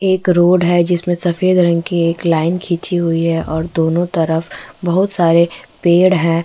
एक रोड है जिसमें सफ़ेद रंग की एक लाईन खिंची हुई है और दोनों तरफ़ बहुत सारे पेड़ हैं ।